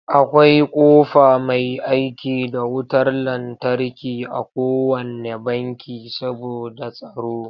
Akwai ƙofa mai aiki da wutar lantarki a kowanne banki saboda tsaro.